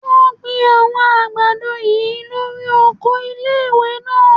Wọ́n gbin àwọn àgbàdo yìí lórí oko ilé-ìwé náà